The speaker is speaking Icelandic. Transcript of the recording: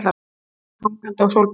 Myndavélin hangandi á stólbakinu.